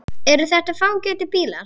Eru þetta fágætir bílar?